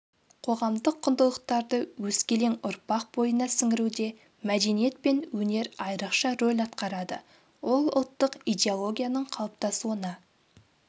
қоғамдық құндылықтарды өскелең ұрпақ бойына сіңіруде мәдениет пен өнер айрықша роль атқарады ол ұлттық идеологияның қалыптасуына